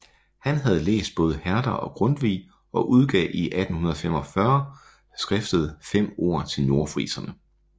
Han havde læst både Herder og Grundtvig og udgav i 1845 skriftet Fem ord til nordfriserne